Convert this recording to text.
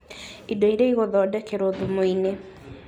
Indio iria igũthondekerwo thumu-inĩ